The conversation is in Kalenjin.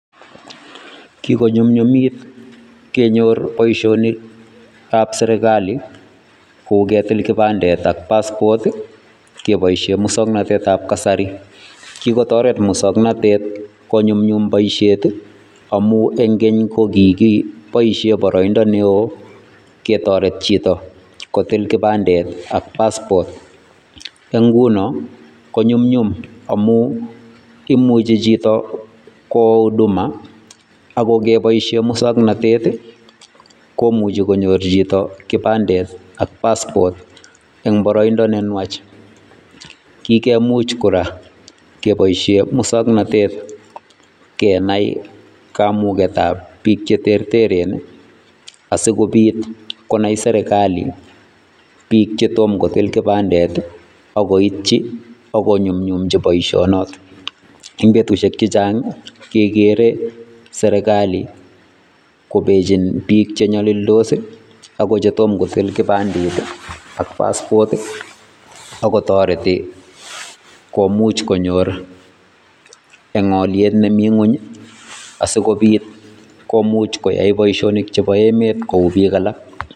Kikonyumnyumit kenyor boisionikab serikalit kou ketil kibandet ak passport keboisie musoknatetab kasari. Kikotoret musoknatet konyumnyum boisiet amu eng keny ko kigiboisie boroindo neoo ketoret chito kotil kibandet ak passport eng nguno ko nyumnyum amuu imuchi chito kwo huduma ako ngeboisie musoknoteti komuchi konyor chito kibandet ak passport eng boroindo ne nwach kikemuch kora keboisyie musoknotet kenai kamugetab biik che terteren asiko biit konai serikalit biik chetom kotil kibandet akoitchi akonyumnyumchi boisionot eng betusiek chechang kekere serekali kobechin biik che nyalildos ako chetomomo kotil kibandet ak passport akotoreti komuuch konyor eng oliet nemii ngony asiko biit komuch koyai boisionik chebo emet kou biik alak.